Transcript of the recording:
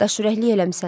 Daşürəklilik eləmisən.